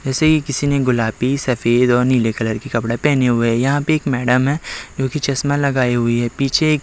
ऐसे ही किसी ने गुलाबी सफेद और नीले कलर कपड़े पहने हुए है यहाँ पर एक मैडम है जो कि चश्मा लगाए हुए है पीछे एक --